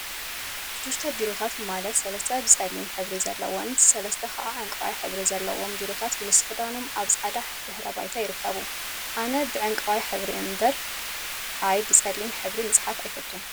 ሽዱሽተ ቢሮታት ማለት ሰለስተ ፀሊም ሕብሪ ዘለዎምን ሰለስተ ከዓ ዕንቋይ ሕብሪ ዘለዎም ቢሮታት ምስ መክደኖም ኣብ ፃዕዳ ድሕረ ባይታ ይርከቡ። ኣነ ብዕንቋይ ሕብሪ እምበር ኣይ! ብፀሊም ሕብሪ ምፅሓፍ ኣይፈቱን።